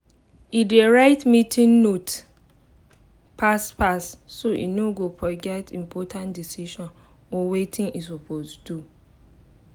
e dey write meeting note fast fast so e no go forget important decisions or watin e suppose do